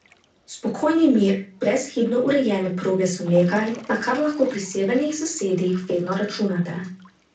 Spokojni mir, Brezhibno urejene proge so nekaj, na kar lahko pri severnih sosedih vedno računate.